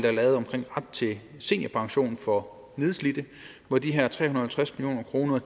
er lavet omkring ret til seniorpension for nedslidte hvor de her tre hundrede og halvtreds million kroner